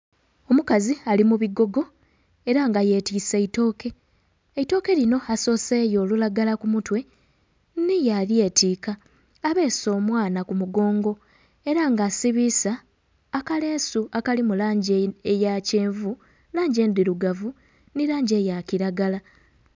Omukazi ali mubigogo era nga yetise eitooke, eitooke lino asooseeyo olulagala kumutwe me yalyetika abeese omwana kumugongo era nga asiibisa akaleesu akali mulangi eya kyenvu, langi endhirugavu ni langi eya kiragala.